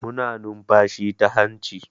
Muna numfashi ta hanci.